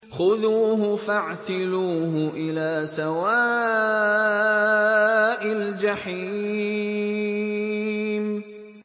خُذُوهُ فَاعْتِلُوهُ إِلَىٰ سَوَاءِ الْجَحِيمِ